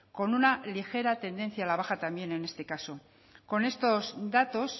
con una ligera tendencia a la baja también en este caso con estos datos